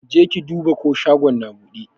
Jeki duba ko shagon na buɗe?